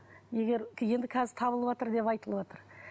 егер енді қазір табылыватыр деп айтылыватыр